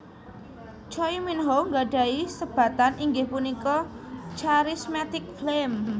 Choi Minho gadhahi sebatan inggih punika Charismatic Flame